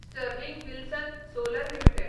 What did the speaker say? Sterling Wilson solar limited